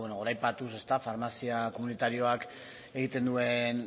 goraipatuz farmazia komunitarioak egiten duen